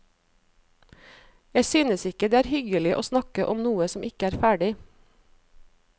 Jeg synes ikke det er hyggelig å snakke om noe som ikke er ferdig.